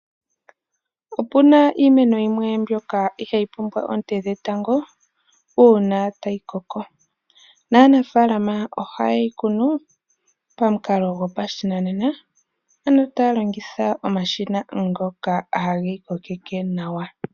Opu na iimeno yimwe mbyoka ihaa yi pumbwa oonte dhetango, uuna ta yi koko, naanafaalama oha ye yi kunu pamukalo gwopashinanena, ano taa longitha omashina ngoka ha ge yi kokeke nawa.